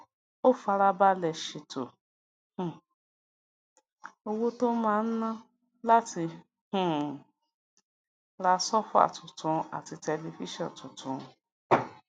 ó fara balè ṣètò um owó tó máa ná láti um ra sóòfà tuntun àti tẹlifíṣòn tuntun